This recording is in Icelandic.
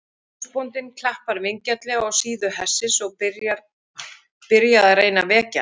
Húsbóndinn klappar vingjarnlega á síðu hestsins og byrja að reyna að vekja hann.